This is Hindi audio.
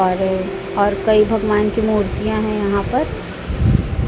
और कई भगवान की मूर्तियां हैं यहां पर।